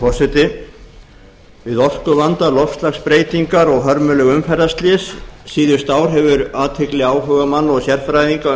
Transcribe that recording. forseti við orkuvanda loftslagsbreytingar og hörmuleg umferðarslys síðustu ár hefur athygli áhugamanna og sérfræðinga um